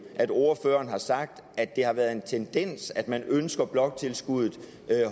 at ordføreren har sagt at det har været en tendens at man ønsker bloktilskuddet